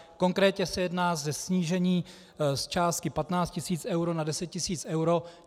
Konkrétně se jedná o snížení z částky 15 tisíc eur na 10 tisíc eur.